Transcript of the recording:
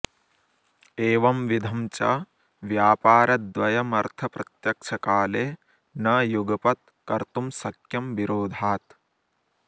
एवंविधं च व्यापारद्वयमर्थप्रत्यक्षकाले न युगपत् कर्तुं शक्यं विरोधात्